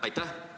Aitäh!